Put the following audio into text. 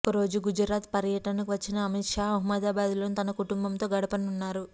ఒక రోజు గుజరాత్ పర్యటనకు వచ్చిన అమిత్ షా అహ్మదాబాద్ లోని తన కుటుంబంతో గడపనున్నారు